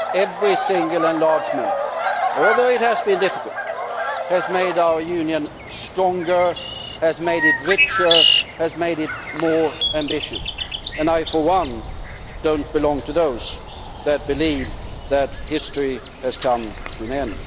Every single enlargement, although it has been difficult, has made our Union stronger, has made it richer, has made it more ambitious, and I for one do not belong to those who believe that history has come to an end.